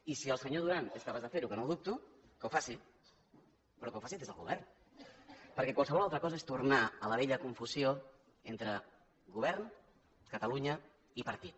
i si el senyor duran és capaç de fer ho que no ho dubto que ho faci però que ho faci des del govern perquè qualsevol altra cosa és tornar a la vella confusió entre govern catalunya i partit